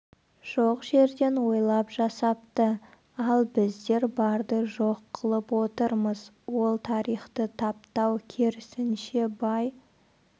жоқ жерден ойлап жасапты ал біздер барды жоқ қылып отырмыз ол тарихты таптау керісінше бай